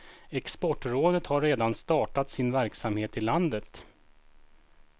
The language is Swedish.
Exportrådet har redan startat sin verksamhet i landet.